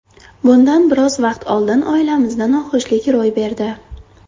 Bundan biroz vaqt oldin oilamizda noxushlik ro‘y berdi.